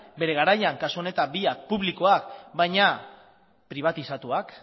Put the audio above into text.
bere garaian kasu honetan biak publikoak baina pribatizatuak